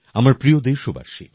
আমার প্রিয় দেশবাসী